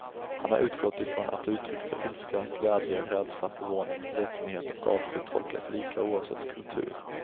Han har utgått ifrån att uttryck för ilska, glädje, rädsla, förvåning, ledsenhet och avsky tolkas lika oavsett kultur.